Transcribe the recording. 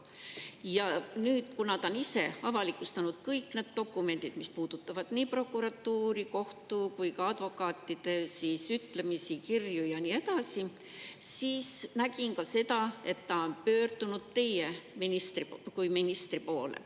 Ja nüüd, kuna ta on ise avalikustanud kõik need dokumendid, mis puudutavad nii prokuratuuri, kohtu kui ka advokaatide ütlemisi, kirju ja nii edasi, siis nägin ka seda, et ta on pöördunud teie kui ministri poole.